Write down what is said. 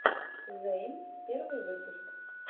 зэйн первый выпуск